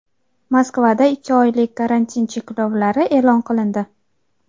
Moskvada ikki oylik karantin cheklovlari e’lon qilindi.